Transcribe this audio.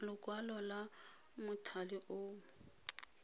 lekwalo la mothale o mo